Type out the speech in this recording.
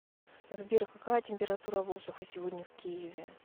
сбер какая температура воздуха сегодня в киеве